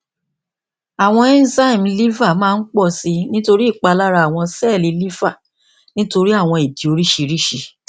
awọn enzyme liver maa n pọ si nitori ipalara awọn sẹẹli liver nitori awọn idi oriṣiriṣi